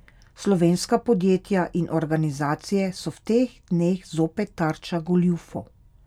Slovenska podjetja in organizacije so v teh dneh zopet tarča goljufov.